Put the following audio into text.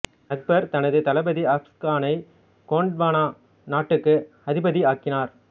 அக்பர் தனது தளபதி அஸஃப் கானை கோண்ட்வானா நாட்டுக்கு அதிபதியாக்கினார்